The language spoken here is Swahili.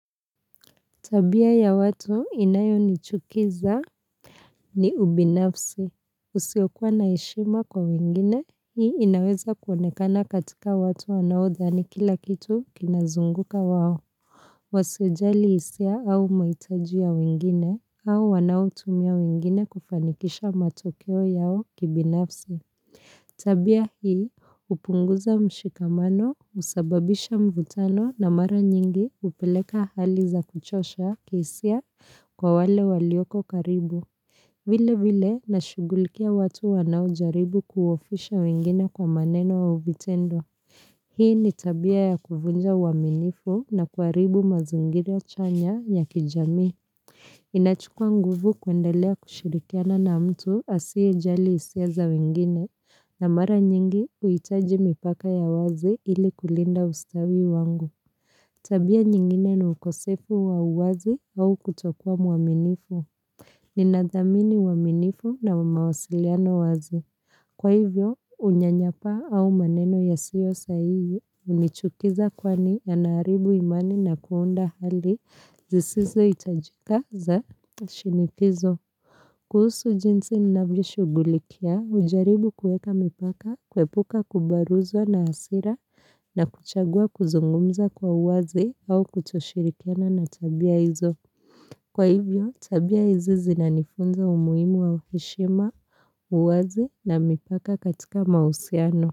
Tabia ya watu inayonichukiza ni ubinafsi. Usiokuwa na heshima kwa wengine, hii inaweza kuonekana katika watu wanaodhani kila kitu kinazunguka wao. Wasiojali hisia au mahitaji ya wengine, au wanaotumia wengine kufanikisha matokeo yao kibinafsi. Tabia hii hupunguza mshikamano husababisha mvutano na mara nyingi hupeleka hali za kuchosha kihisia kwa wale walioko karibu. Vile vile na shugulikia watu wanaojaribu kuhofisha wengine kwa maneno au vitendo. Hii ni tabia ya kuvunja uaminifu na kuaribu mazingira chanya ya kijamii. Inachukua nguvu kuendelea kushirikiana na mtu asiye jali hisia za wengine, na mara nyingi kuhitaji mipaka ya wazi ili kulinda ustawi wangu. Tabia nyingine ni ukosefu wa wazi au kutokua mwaminifu. Ninadhamini uaminifu na mawasiliano wazi. Kwa hivyo, unyanyapaa au maneno yasiyo sahihi, hunichukiza kwani yanaharibu imani na kuunda hali zisizohitajika za shinikizo. Kuhusu jinsi navyoshugulikia, ujaribu kueka mipaka, kwepuka kubaruzwa na asira na kuchagua kuzungumza kwa uwazi au kutoshirikiana na tabia hizo. Kwa hivyo, tabia izizi na nifunza umuimu wa uheshima, uwaze na mipaka katika mausiano.